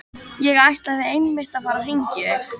Ég ætlaði einmitt að fara að hringja í þig.